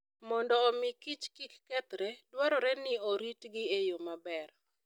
Mondo omi Kich kik kethre, dwarore ni oritgi e yo maber.